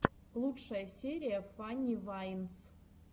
лучшая серия фанни вайнс